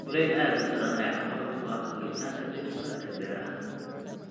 Kuleyl aad u daran ayaa caqabad ku ah koritaanka dhirta ee beeraha.